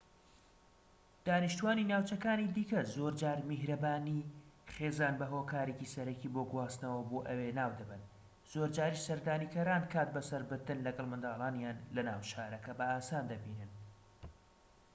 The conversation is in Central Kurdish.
دانیشتوانی ناوچەکانی دیکە زۆرجار میهرەبانی خێزان بە هۆکارێکی سەرەکی بۆ گواستنەوە بۆ ئەوێ ناودەبەن زۆرجاریش سەردانیکەران کات بە سەربردن لەگەڵ منداڵانیان لە ناو شارەکە بە ئاسان دەبینن